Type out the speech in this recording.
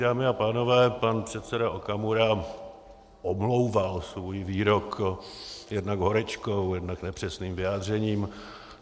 Dámy a pánové, pan předseda Okamura omlouval svůj výrok jednak horečkou, jednak nepřesným vyjádřením.